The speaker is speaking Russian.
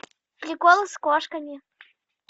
приколы с кошками